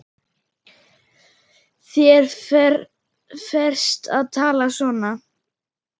Þér ferst að tala svona!